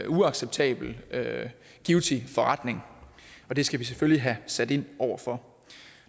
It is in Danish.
uacceptabelt givtig forretning og det skal vi selvfølgelig have sat ind over for